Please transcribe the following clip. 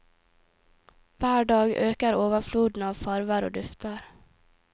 Hver dag øker overfloden av farver og dufter.